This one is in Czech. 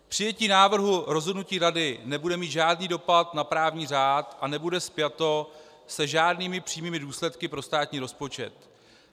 Přijetí návrhu rozhodnutí Rady nebude mít žádný dopad na právní řád a nebude spjato se žádnými přímými důsledky pro státní rozpočet.